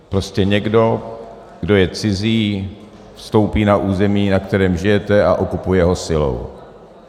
Prostě někdo, kdo je cizí, vstoupí na území, na kterém žijete, a okupuje ho silou.